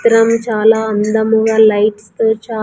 పిరం చాలా అందముగా లైట్స్ తో చాల్.